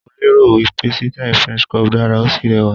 Mo lérò wí pé sítáì french crop dára, ó sì rẹwà.